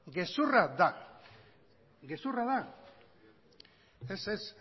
gezurra da gezurra da ez ez